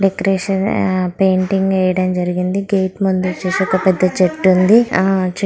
Decoration painting వేయడం జరిగింది gate ముందు వచ్చేసి ఒక పెద్ద చెట్టు ఉంది.